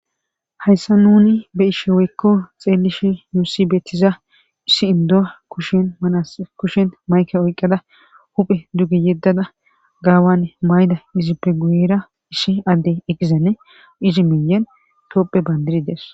Hayssa nuni be ishe woykko xeellishi yuusibetiza issi indu'a kushin manas kushen mayke oyqqada huphe duge yeddada gaawanne mayda izippeguyra ishi addey eqqizanne izi miyen tooppe bandiri des